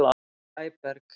Sæberg